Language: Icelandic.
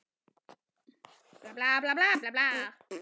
Ekki síst núna eftir að krakkarnir fæddust.